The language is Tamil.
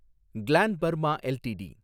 gland Pharma LTD